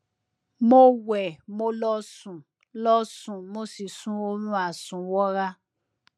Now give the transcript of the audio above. mo wẹ mo lọ sùn lọ sùn mo sì sun oorun àsùnwọra